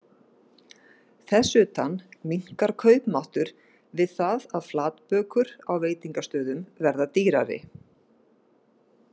Þess utan minnkar kaupmáttur við það að flatbökur á veitingastöðum verða dýrari.